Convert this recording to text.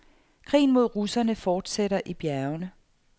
Krigen mod russerne fortsætter i bjergene.